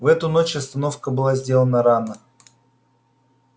в эту ночь остановка была сделана рано